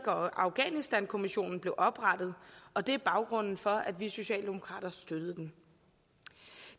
og afghanistankommissionen blev oprettet og det er baggrunden for at vi socialdemokrater støttede den